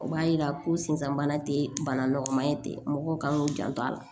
O b'a yira ko sinzan bana tɛ bana nɔgɔma ye ten mɔgɔw kan k'u janto a la